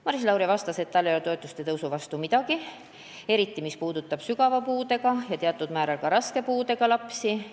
Maris Lauri vastas, et tal ei ole toetuste tõusu vastu midagi, eriti, mis puudutab sügava puudega ja teatud määral ka raske puudega lapsi.